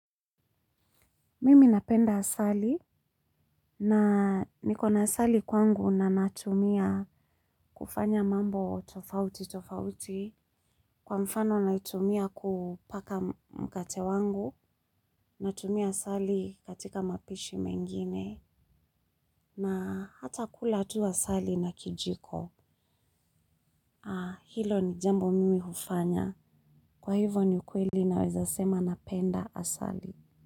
Mimi napenda asali na niko na asali kwangu na natumia kufanya mambo tofauti tofauti kwa mfano naitumia kupaka mkate wangu, natumia asali katika mapishi mengine na hata kula tu asali na kijiko. Hilo ni jambo mimi hufanya kwa hivyo ni ukweli naweza sema napenda asali.